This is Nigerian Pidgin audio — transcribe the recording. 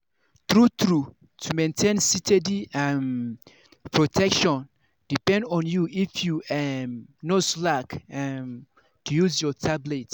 true-true to maintain steady um protection depend on if you um no slack um to use your tablet.